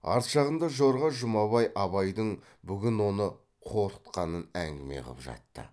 арт жағында жорға жұмабай абайдың бүгін оны қорқытқанын әңгіме қып жатты